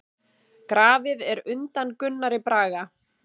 Grafið er undan Gunnari Braga.